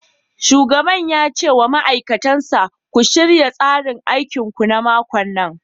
Shugaban ya ce wa ma'aikatan sa " ku shirya tsarin aikinku na makon nan!'